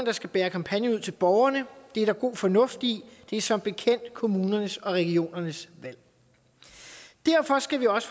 der skal bære kampagnen ud til borgerne det er der god fornuft i det er som bekendt kommunernes og regionernes valg derfor skal vi også